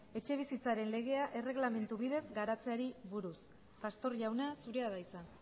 etxebizitzaren legea erregelamendu bidez garatzeari buruz pastor jauna zurea da hitza